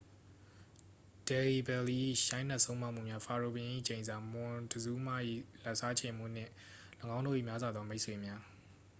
ဒယ်ဟီဘယ်လီ ၏ရိုက်နှက်ဆုံးမမှုများ ဖာရိုဘုရင်၏ကျိန်စာ မွန်တဇူးမ ၏ လက်စားချေမှု နှင့် ၎င်းတို့၏များစွာသောမိတ်ဆွေများ